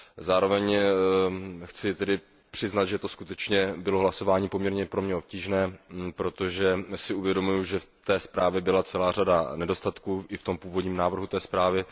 Zároveň chci přiznat, že to skutečně bylo hlasování poměrně pro mě obtížné, protože si uvědomuji, že ve zprávě byla celá řada nedostatků, i v tom původním návrhu zprávy.